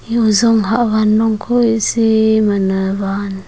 iya ozong hahwan long kho ee sii man wan.